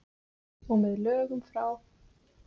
Og með lögum frá